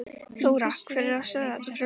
Þóra: Hver er að stöðva þetta frumvarp?